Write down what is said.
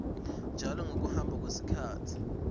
njalo ngekuhamba kwesikhatsi